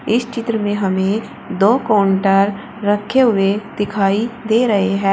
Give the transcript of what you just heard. इस चित्र में हमें दो काउंटर रखे हुए दिखाई दे रहे हैं।